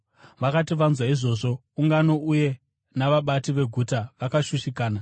Vakati vanzwa izvozvo, ungano uye navabati veguta vakashushikana.